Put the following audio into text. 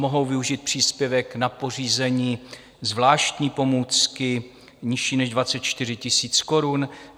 Mohou využít příspěvek na pořízení zvláštní pomůcky nižší než 24 000 korun.